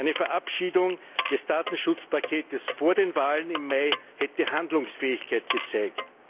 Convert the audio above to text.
Eine Verabschiedung des Datenschutzpakets vor den Wahlen im Mai hätte Handlungsfähigkeit gezeigt.